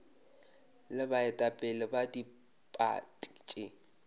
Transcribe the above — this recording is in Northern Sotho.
le baetapele ba diphathi tše